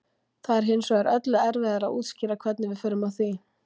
það er hins vegar öllu erfiðara að útskýra hvernig við förum að því